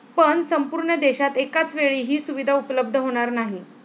पण संपूर्ण देशात एकाचवेळी ही सुविधा उपलब्ध होणार नाही.